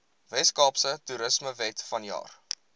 weskaapse toerismewet vanjaar